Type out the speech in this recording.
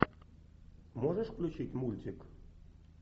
можешь включить мультик